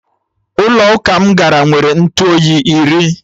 Ụlọ ụka m gara nwere Ntụ oyi iri